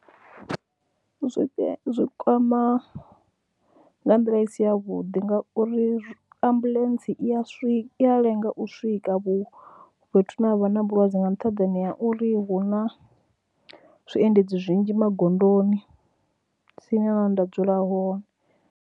Zwi kwama nga nḓila i si yavhuḓi ngauri ambuḽentse i ya swika, i ya lenga u swika fhethu hune ha vha na vhulwadze nga nṱhaḓani ha uri hu na zwiendedzi zwinzhi magondoni tsini na hune nda dzula hone.